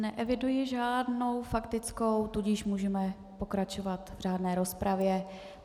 Neeviduji žádnou faktickou, tudíž můžeme pokračovat v řádné rozpravě.